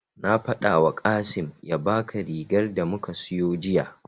Na faɗawa Kasim ya baka rigar da muka siyo jiya.